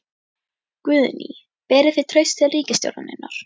Guðný: Berið þið traust til ríkisstjórnarinnar?